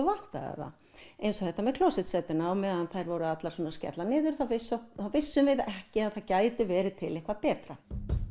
vantaði það eins og þetta með meðan þær voru allar að skella niður þá vissum þá vissum við ekki að það gæti verið til eitthvað betra